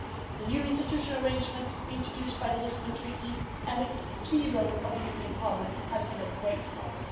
The new institutional arrangement introduced by the Lisbon Treaty and the key role of the European Parliament has been of great help.